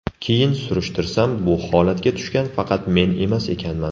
Keyin surushtirsam bu holatga tushgan faqat men emas ekanman.